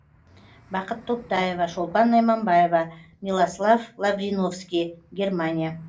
бақыт топтаева шолпан найманбаева милослав лавриновский германия